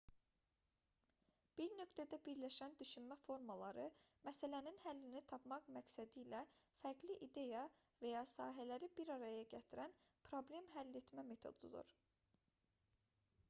bir nöqtədə birləşən düşünmə formaları məsələnin həllini tapmaq məqsədilə fərqli ideya və ya sahələri bir araya gətirən problem həll etmə metodudur